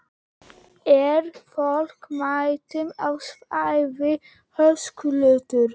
Er fólk mætt á svæðið, Höskuldur?